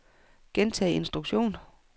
gentag instruktion